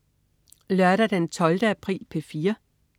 Lørdag den 12. april - P4: